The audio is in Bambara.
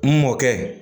N mɔkɛ